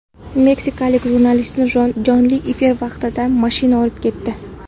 Meksikalik jurnalistni jonli efir vaqtida mashina urib ketdi.